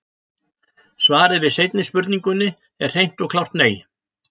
Svarið við seinni spurningunni er hreint og klárt nei!